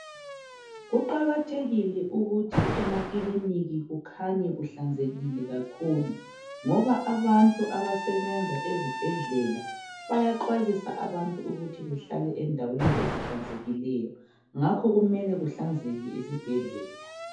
Kuqakathekile ukuthi emakiliniki kukhanye kuhlanzekile kakhulu ngoba abantu abasebenza ezibhedlela bayaxwayisa abantu ukuthi behlale endaweni ezihlanzekileyo ngakho kumele kuhlanzeke esibhedlela